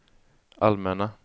allmänna